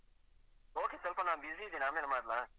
Okay ಸ್ವಲ್ಪ ನಾನು busy ಇದ್ದೇನೆ ಆಮೇಲೆ ಮಾಡ್ಲಾ?